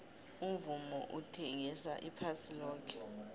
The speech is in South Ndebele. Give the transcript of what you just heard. umvumo uthengisa iphasi loke